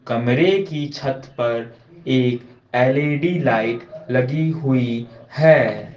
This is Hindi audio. कमरे की छत पर एक एल_ई_डी लाइट लगी हुई है।